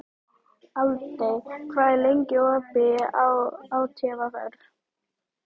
Aldey, hvað er lengi opið í ÁTVR?